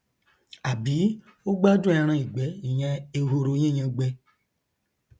àbí ó gbádùn ẹranìgbẹ ìyẹn ehoro yíyangbẹ